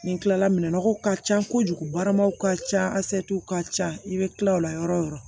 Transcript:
Nin kilala minɛnɔgɔw ka ca kojugu baramaw ka ca ka ca i bɛ tila o la yɔrɔ o yɔrɔ